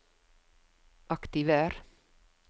aktiver